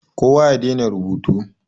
Kowa ya dena rubutu.